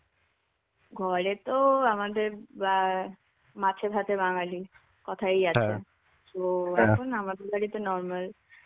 ঘরে তো আমাদের মা মাছে ভাতে বাঙালি. কথাই আছে. তো এখন আমাদের বাড়িতে normal.